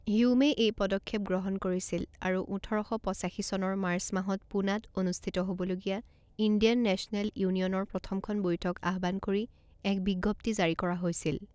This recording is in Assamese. হিউমে এই পদক্ষেপ গ্ৰহণ কৰিছিল, আৰু ওঠৰ শ পঁচাশী চনৰ মাৰ্চ মাহত পুনাত অনুষ্ঠিত হ'বলগীয়া ইণ্ডিয়ান নেচনেল ইউনিয়নৰ প্ৰথমখন বৈঠক আহ্বান কৰি এক বিজ্ঞপ্তি জাৰি কৰা হৈছিল।